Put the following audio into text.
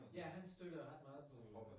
Ja han støtter ret meget på